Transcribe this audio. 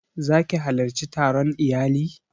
Za ki halarci taron iyali?